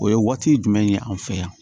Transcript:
O ye waati jumɛn ye an fɛ yan